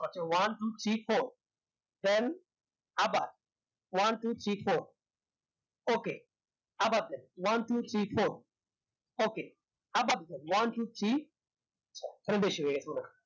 আচ্ছা one two three four then আবার one two three forukey আবার then one two three forukey আবার then one two three বেশি হয়েগেছে